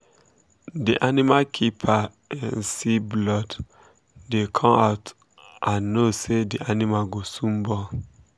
the animal keeper um see blood um dey come um out and know say the animal go soon born.